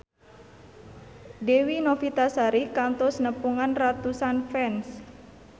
Dewi Novitasari kantos nepungan ratusan fans